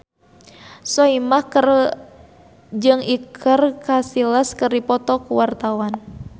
Soimah jeung Iker Casillas keur dipoto ku wartawan